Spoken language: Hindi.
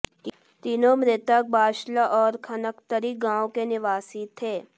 तीनों मृतक बाशला और खनगतरी गांव के निवासी थे